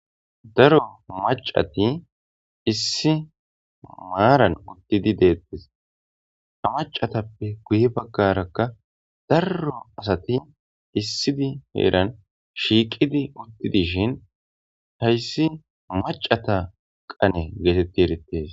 daro macati issi maaran uttidi deettes ta macatappe guye baggarakka darro asati issidi heeran shiiqidi uttidishin hayssi macata qane geetetti erites